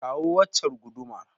Kawo waccar gudumar.